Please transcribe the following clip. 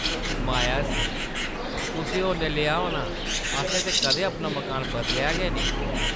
माया हस्सी, ‘‘कुसै होर नै लेआ होना । असें ते कदें अपना मकान बदलेआ गै नेईं ।’’